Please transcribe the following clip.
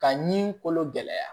Ka ɲi kolo gɛlɛya